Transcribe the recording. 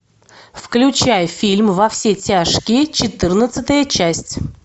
включай фильм во все тяжкие четырнадцатая часть